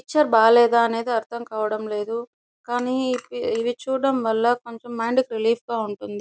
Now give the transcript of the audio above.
Picture బాలేదా అనేది అర్థం కావడం లేదు. కానీ ఇవి ఇది చూడడం వల్ల కొంచెం మైండ్ కి రిలీఫ్ గా ఉంటుంది.